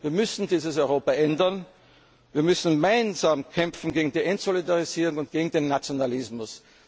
viel Zeit bis zu den nächsten Wahlen. Wir müssen dieses Europa ändern, wir müssen gemeinsam kämpfen gegen die Entsolidarisierung